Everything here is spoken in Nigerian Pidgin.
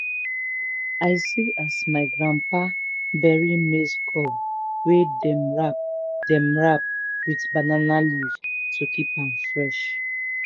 i see as my grandpapa bury maize cob wey dem wrap dem wrap with banana leaf to keep am fresh.